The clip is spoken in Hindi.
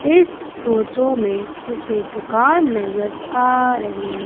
इस फोटो में मुझे दुकान नज़र आ रही--